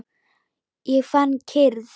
Ég fann kyrrð.